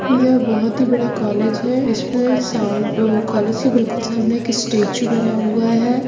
यह एक बहोत ही बड़ा कॉलेज है ईसपे कोलेज के बिलकुल सामने एक स्टेचू बना हुआ है।